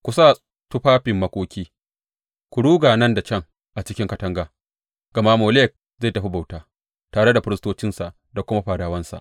Ku sa tufafin makoki; ku ruga nan da can a cikin katanga, gama Molek zai tafi bauta, tare da firistocinsa da kuma fadawansa.